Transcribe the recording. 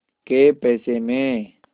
कै पैसे में